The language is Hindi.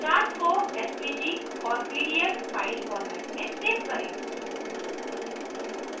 4 charts को svg और pdf file formats में svg करें